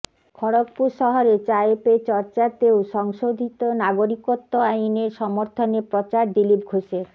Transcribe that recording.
খড়গপুর শহরে চায়ে পে চর্চাতেও সংশোধিত নাগরিকত্ব আইনের সমর্থনে প্রচার দিলীপ ঘোষের